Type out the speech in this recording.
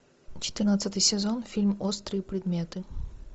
четырнадцатый сезон фильм острые предметы